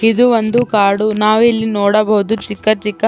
ಇದು ಒಂದು ಕಾಡು ನಾವಿಲ್ಲಿ ನೋಡಬಹುದು ಚಿಕ್ಕಚಿಕ್ಕ --.